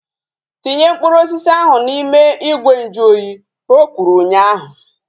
Tinye mkpụrụ osisi ahu n'ime ìgwè nju oyi! Ka o kwuru ụnyaahụ